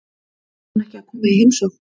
Fer hún ekki að koma í heimsókn?